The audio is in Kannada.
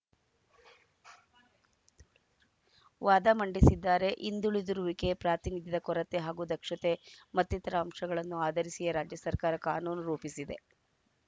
ವಾದ ಮಂಡಿಸಿದ್ದಾರೆ ಹಿಂದುಳಿದಿರುವಿಕೆ ಪ್ರಾತಿನಿಧ್ಯದ ಕೊರತೆ ಹಾಗೂ ದಕ್ಷತೆ ಮತ್ತಿತರ ಅಂಶಗಳನ್ನು ಆಧರಿಸಿಯೇ ರಾಜ್ಯ ಸರ್ಕಾರ ಕಾನೂನು ರೂಪಿಸಿದೆ